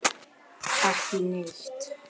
Ekki neitt.